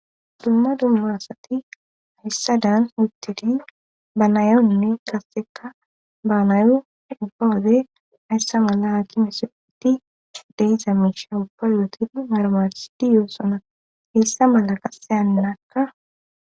dumma dumma asati ayssa daan uttidi ba nayonne qasseka baanayo ubbawode ayssa mala haakimese itti deiza misha ubba yootin marmarsidi yoossona hessa mala qasse annaakka